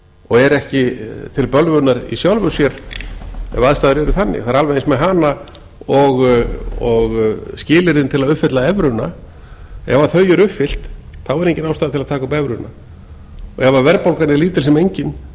og er ekki til bölvunar í sjálfu sér ef aðstæður eru þannig það er alveg eins með hana og skilyrðin til þess að uppfylla evruna ef þau eru uppfyllt þá er engin ástæða til að taka upp evruna ef verðbólgan er lítil sem engin